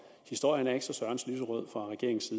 historien er ikke så sørens lyserød fra regeringens